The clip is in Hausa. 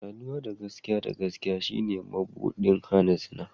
Saduwa da gaskiya da gaskiya shine mabuɗin hana zina.